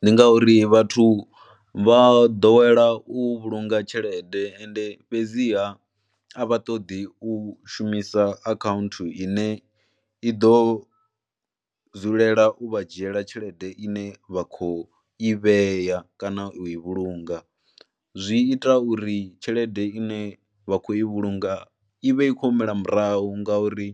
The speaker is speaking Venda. Ndi ngauri vhathu vha ḓowela u vhulunga tshelede ende fhedziha a vha ṱoḓi u shumisa akhaunthu ine i ḓo dzulela u vha dzhiela tshelede ine vha khou i vhea kana u i vhulunga, zwi ita uri tshelede ine vha khou i vhulunga i vhe i khou humela murahu ngauri